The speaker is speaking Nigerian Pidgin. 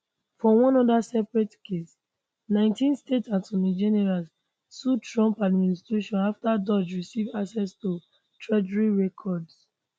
for one oda separate case 19 state attorney generals sue trump administration afta doge receive access to treasury records